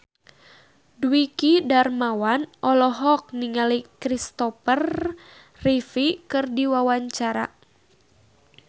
Dwiki Darmawan olohok ningali Christopher Reeve keur diwawancara